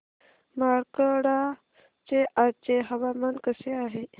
मार्कंडा चे आजचे हवामान कसे आहे